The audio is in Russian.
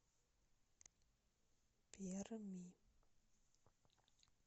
перми